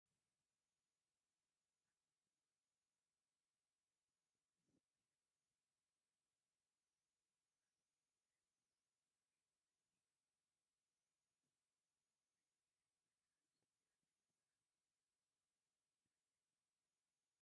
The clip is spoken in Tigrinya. ኣብ ኮስሞቶክስ መሸጢ ቦታ ዘሎ ኮይኑ ቫዝልንን ሎሽንን ሻንቦን ዝኣመሳሰሊ ዘለው ኮይኖም ደቂ ኣንስትዮን ደቂ ተባዕትዮ እዮም ዝጥቀምሉ። እንታይ ዓይነት ጥቅሚ ይህቡና?